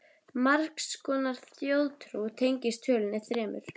Margs konar þjóðtrú tengist tölunni þremur.